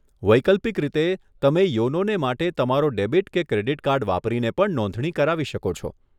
વૈકલ્પિક રીતે, તમે યોનોને માટે તમારો ડેબિટ કે ક્રેડીટ કાર્ડ વાપરીને પણ નોંધણી કરાવી શકો છો.